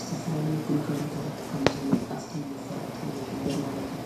ዝተፈላሊ ግልጋሎታት ከምዝ ኣፍቲ ምፋለጢ ይኅብር ማለት እዩ።